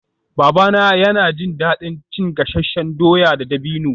Babana yana jin daɗin cin gasasshen dawa da dabino